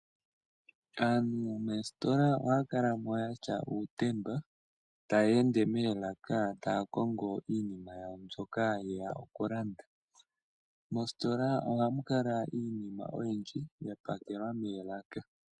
Aantu moositola ohaya kala mo yatya uutemba, taya ende moolaka taya kongo iinima yawo mbyoka yeya oku landa. Mositola ohamu kala iinima oyindji ya pakelwa moolaka.